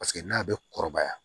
Paseke n'a bɛ kɔrɔbaya